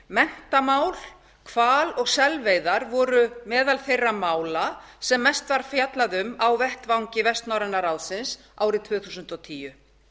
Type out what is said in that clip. menntamál hval og selveiðar voru meðal þeirra mála sem mest var fjallað um á vettvangi vestnorræna ráðsins árið tvö þúsund og tíu